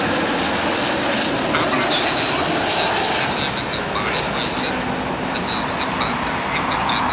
તો જવાબ આવશે પાંસઠ થી પંચોતેર